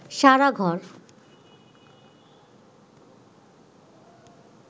সারা ঘর